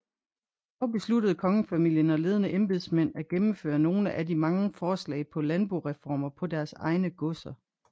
Dog besluttede kongefamilien og ledende embedsmænd at gennemføre nogle af de mange forslag på landboreformer på deres egne godser